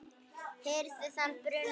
hirðir þann bruna